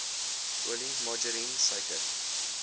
olie margarien suiker